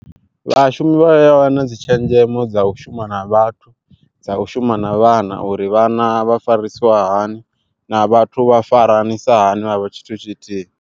Vhashumi vha ya wana dzi tshenzhemo dza u shuma na vhathu, dza u shuma na vhana uri vhana vha farisiwa hani na vhathu vha faranisa hani vhavha tshithu tshithihi.